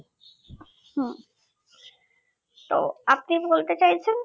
হুঁ তো আপনি কি বলতে চাইছেন